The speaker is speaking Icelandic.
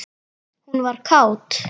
Hún var kát.